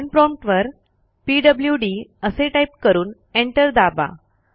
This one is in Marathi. कमांड प्रॉम्प्ट वर पीडब्ल्यूडी असे टाईप करून एंटर दाबा